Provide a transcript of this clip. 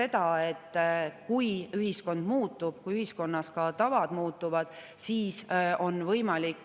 Vastus esimesele küsimusele: ei, ma ei ole isiklikult, otse suhelnud inimestega, kes on kirjutanud Eesti Vabariigi põhiseaduse või selle kommenteeritud väljaande.